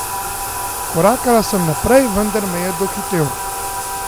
Korakala sem naprej, vendar me je dohitel.